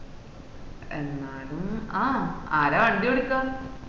എന്നാലും ആഹ് ആര വണ്ടി ഓടിക്ക